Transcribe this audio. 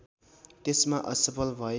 त्यसमा असफल भए